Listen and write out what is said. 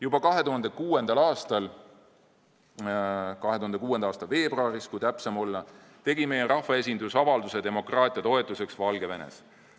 Juba 2006. aasta veebruaris tegi meie rahvaesindus avalduse demokraatia toetuseks Valgevenes.